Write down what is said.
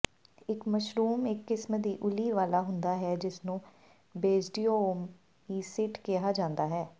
ਇਕ ਮਸ਼ਰੂਮ ਇੱਕ ਕਿਸਮ ਦੀ ਉੱਲੀ ਵਾਲਾ ਹੁੰਦਾ ਹੈ ਜਿਸਨੂੰ ਬੇਸਡੀਓਓਮੀਸੀੇਟ ਕਿਹਾ ਜਾਂਦਾ ਹੈ